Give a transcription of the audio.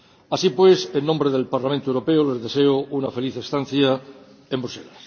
Así pues, en nombre del Parlamento Europeo, les deseo una feliz estancia en Bruselas.